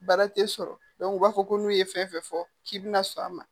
Baara tɛ sɔrɔ u b'a fɔ ko n'u ye fɛn fɛn fɔ k'i bɛna sɔn a ma